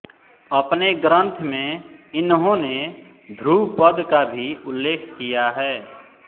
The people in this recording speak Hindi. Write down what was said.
अपने ग्रंथ में इन्होंने ध्रुवपद का भी उल्लेख किया है